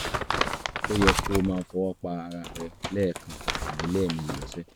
ó yẹ kó o máa fọwọ́ pa ara rẹ lẹ́ẹ̀kan tàbí lẹ́ẹ̀mejì lọ́sẹ̀